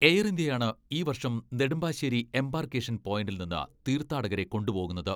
Air ഇന്ത്യയാണ് ഈ വർഷം നെടുമ്പാശ്ശേരി എംബാർക്കേഷൻ പോയിന്റിൽ നിന്ന് തീർത്ഥാടകരെ കൊണ്ടു പോകുന്നത്.